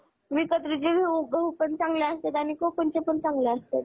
isolance करण्यात आले.